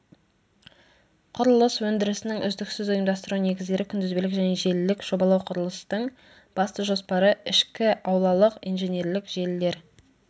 құрылыс өндірісінің үздіксіз ұйымдастыру негіздері күнтізбелік және желілік жобалау құрылыстың басты жоспары ішкі аулалық инженерлік желілер